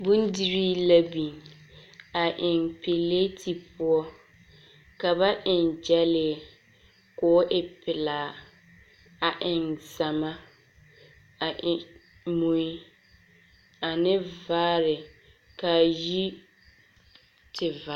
Bondirii la biŋ, a eŋ pileti poɔ, ka ba eŋ gyɛlee, koo e pelaa, a eŋ zama, a eŋ mui, ane vaare, kaa yi tev.